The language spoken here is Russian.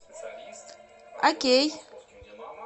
окей